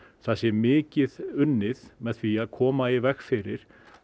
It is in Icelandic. það sé mikið unnið með því að koma í veg fyrir